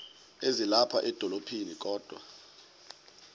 ezilapha edolophini kodwa